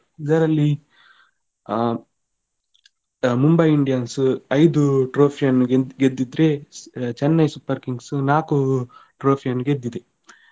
ಇದರಲ್ಲಿ ಆ Mumbai Indians ಐದು trophy ಅನ್ನು ಗೆದ್ದಿದ್ರೆ Chennai Super Kings ನಾಲ್ಕು trophy ಅನ್ನು ಗೆದ್ದಿದೆ.